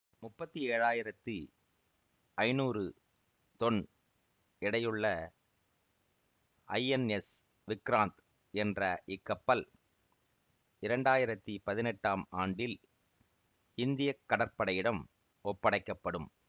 முப்பத்தி ஏழாயிரத்தி ஐநூறு தொன் எடையுள்ள ஐஎன்எஸ் விக்ராந்த் என்ற இக்கப்பல் இரண்டாயிரத்தி பதினெட்டாம் ஆண்டில் இந்திய கடற்படையிடம் ஒப்படைக்க படும்